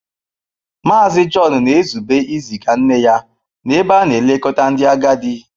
Mazị John na-ezube iziga nne ya n'ebe a na-elekọta ndị agadi.